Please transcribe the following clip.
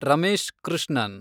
Ramesh Krishnan